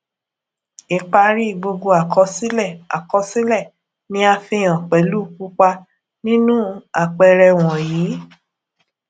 ipari gbogbo àkọsílẹ àkọsílẹ ni a fihàn pelu pupa ninu àpẹẹrẹ wọnyíí